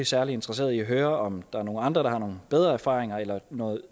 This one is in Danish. særlig interesserede i at høre om der er nogle andre der har nogle bedre erfaringer eller